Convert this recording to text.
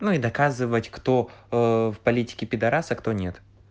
ну доказывать кто в политике пидорас а кто нет